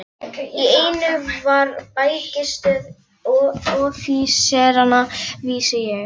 Í einu var bækistöð offíseranna, vissi ég.